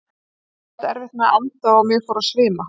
Ég átti erfitt með að anda og mig fór að svima.